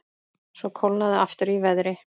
Svo kólnaði aftur í veðri.